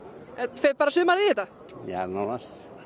fer bara sumarið í þetta já nánast